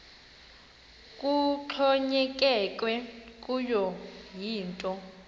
kuxhonyekekwe kuyo yinto